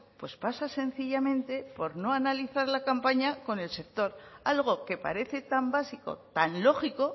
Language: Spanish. pues pasa sencillamente por no analizar la campaña con el sector algo que parece tan básico tan lógico